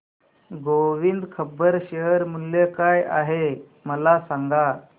Govind rubber share मूल्य काय आहे मला सांगा